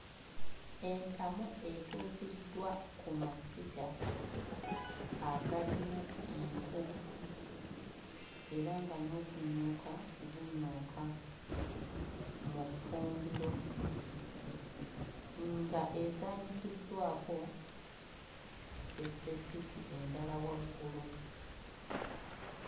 Entamu etuuziddwa ku masiga agalimu enku era nga n'okunyooka zinyooka mu ffumbiro, nga esaanikiddwako essepiti endala waggulu.